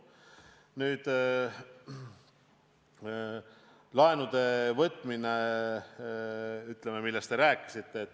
Nüüd laenude võtmisest, millest te samuti rääkisite.